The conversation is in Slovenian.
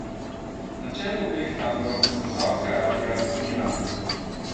Na čelu obeh taborov sta Savdska Arabija in Iran.